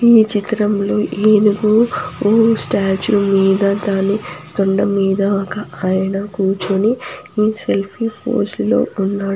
ఈ చిత్రంలో ఏనుగు ఊ స్టాచు మీద దాన్ని తొండం మీద ఒక ఆయన కూర్చొని ఈ సెల్ఫీ ఫోజ్ లో ఉన్నాడు.